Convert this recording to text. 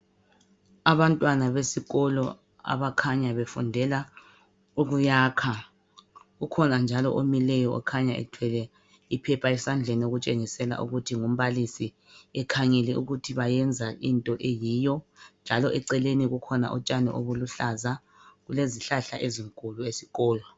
Abantwana besikolo abakhanya befundela ukuyakha. Ukhona njalo omileyo okhanya ethwele iphepha esandleni okutshengisela ukuthi ngumbalisi ekhangele ukuthi bayenza into eyiyo, njalo eceleni kukhona utshani obuluhlaza. Kulezihlahla ezinkulu esikolo.